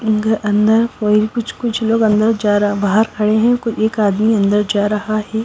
अंदर कोई कुछ कुछ लोग अंदर जा रहा बाहर खड़े हैं एक आदमी अंदर जा रहा है।